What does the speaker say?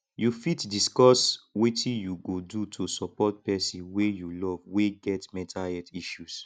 you fit discuss wetin you go do to support pesin wey you love wey get mental health issues